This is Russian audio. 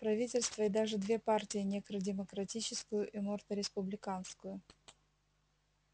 правительство и даже две партии некро-демократическую и морто-республиканскую